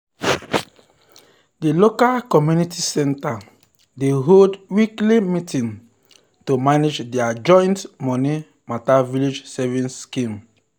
the local community center dey hold weekly meeting to manage their joint money matter village savings scheme.